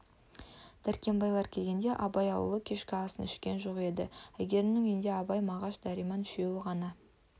дәркембайлар келгенде абай ауылы кешкі асын ішкен жоқ еді әйгерімнің үйінде абай мағаш дәрмен үшеуі ғана